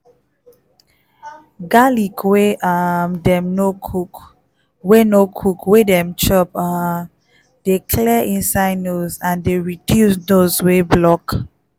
garlic wey um dem no cook wey no cook wey dem chop um dey clear inside nose and dey reduce nose wey block.